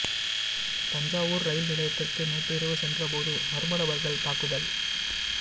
Thanjavur rail நிலையத்திற்கு நேற்று இரவு சென்றபோது மர்ம நபர்கள் தாக்குதல்